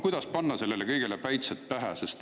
Kuidas panna sellele kõigele päitsed pähe?